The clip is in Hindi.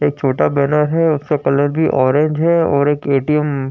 एक छोटा बैनर है अ उसका कलर भी ऑरेंज है और एक ए.टी.एम. --